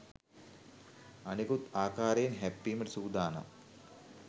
අනෙකුත් ආකාරයෙන් හැප්පීමට සූදානම්